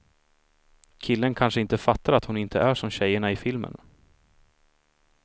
Killen kanske inte fattar att hon inte är som tjejerna i filmerna.